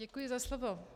Děkuji za slovo.